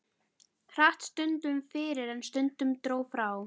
Hratt stundum fyrir en stundum dró frá.